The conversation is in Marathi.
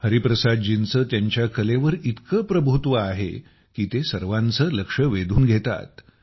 हरिप्रसादजींचे त्यांच्या कलेवर इतके प्रभुत्व आहे की ते सर्वांचे लक्ष वेधून घेतात